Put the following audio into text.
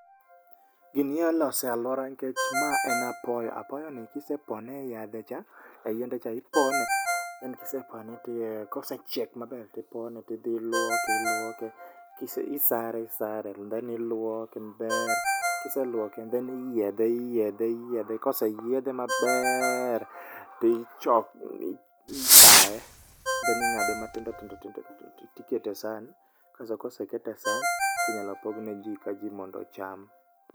Gini inyalo loso e alwora nikech ma en apoyo. Apoyo ni ka isepone e yadhe cha, e yiende cha, ipone, then, kisepone tiwee, kosechiek maber, tipone, tidhi iluoke, iluoke, isare, isare, then iluoke maber, kiseluoke then iyiedhe, iyiedhe, iyiedhe koseyiedhe maber, to ipae, then ingade matindo tindo tindo tindo ti kete san. Kasto kosekete e san ti nyalo pogne ji ka ji mondo ocham